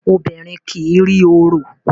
Obìrin kí rí òrò.